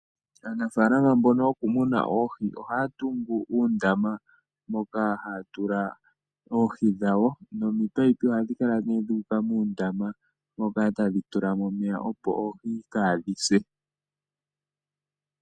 Aanafalama mbono yokumuna oohi ohaya tungu uundama moka haya tula oohi dhawo nomipaipi ohadhi kala dhuuka muundama tadhi tulamo omeya opo oohi kadhise.